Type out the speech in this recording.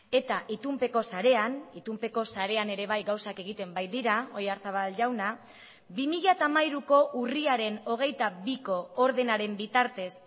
eta itunpeko sarean itunpeko sarean ere bai gauzak egiten baitira oyarzabal jauna bi mila hamairuko urriaren hogeita biko ordenaren bitartez